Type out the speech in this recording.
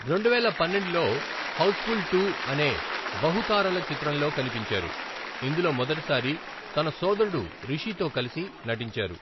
రెండువేల పన్నెండులో 'హౌస్ఫుల్ టు ' అనే బహుతారల చిత్రంలో కనిపించారు, ఇందులో మొదటిసారి తన సోదరుడు రిషితో కలిసి నటించారు.